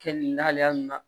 Kɛ ni lahalaya nunnu na